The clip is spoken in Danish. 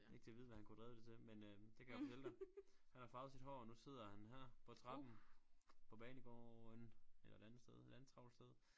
Ikke til at vide hvad han kunne have drevet det til men øh det kan jeg fortælle dig han har farvet sit hår og nu sidder han her på trappen på banegården eller et andet sted et andet travlt sted